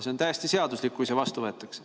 See on täiesti seaduslik, kui see vastu võetakse.